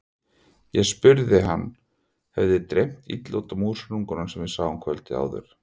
Ég spurði hvort hann hefði dreymt illa út af músarunganum sem við sáum kvöldið áður.